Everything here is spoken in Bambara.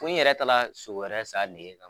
Ko n yɛrɛ taara sogo wɛrɛ san a nege kama.